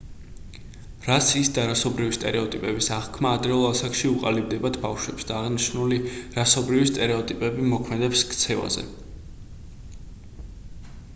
რასის და რასობრივი სტერეოტიპების აღქმა ადრეულ ასაკში უყალიბდებათ ბავშვებს და აღნიშნული რასობრივი სტერეოტიპები ზემოქმედებს ქცევაზე